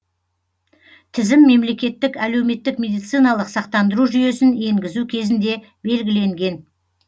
тізім мемлекеттік әлеуметтік медициналық сақтандыру жүйесін енгізу кезінде белгіленген